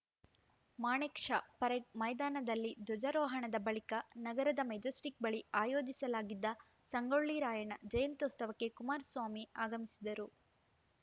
ಮಾಣೆಕ್‌ Shah parade ಮೈದಾನದಲ್ಲಿ ಧ್ವಜಾರೋಹಣದ ಬಳಿಕ ನಗರದ ಮೆಜೆಸ್ಟಿಕ್‌ ಬಳಿ ಆಯೋಜಿಸಲಾಗಿದ್ದ ಸಂಗೊಳ್ಳಿ ರಾಯಣ್ಣ ಜಯಂತ್ಯುತ್ಸವಕ್ಕೆ ಕುಮಾರಸ್ವಾಮಿ ಆಗಮಿಸಿದರು